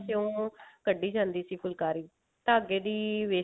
ਚੋਂ ਕੱਢੀ ਜਾਂਦੀ ਸੀ ਫੁਲਕਾਰੀ ਧਾਗੇ ਦੀ wastage